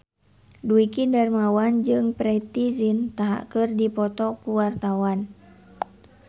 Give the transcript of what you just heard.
Dwiki Darmawan jeung Preity Zinta keur dipoto ku wartawan